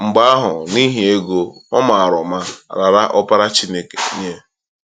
Mgbe ahụ, niihi ego, ọ mara ụma raara Ọkpara Chineke nye.